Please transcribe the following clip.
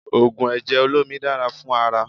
Ògùn ẹ̀jẹ̀ olómi dára fún ara